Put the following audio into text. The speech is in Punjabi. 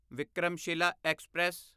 ਵਿਕਰਮਸ਼ਿਲਾ ਐਕਸਪ੍ਰੈਸ